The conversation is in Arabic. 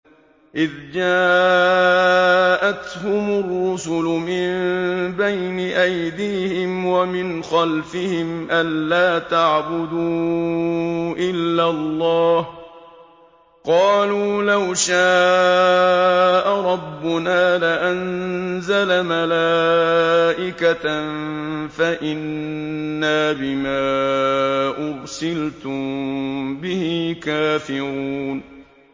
إِذْ جَاءَتْهُمُ الرُّسُلُ مِن بَيْنِ أَيْدِيهِمْ وَمِنْ خَلْفِهِمْ أَلَّا تَعْبُدُوا إِلَّا اللَّهَ ۖ قَالُوا لَوْ شَاءَ رَبُّنَا لَأَنزَلَ مَلَائِكَةً فَإِنَّا بِمَا أُرْسِلْتُم بِهِ كَافِرُونَ